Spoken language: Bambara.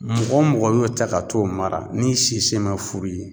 Mɔgɔ mɔgɔ y'o ta ka t'o mara n'i si semɛ furu ye